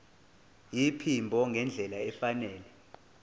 iphimbo ngendlela efanele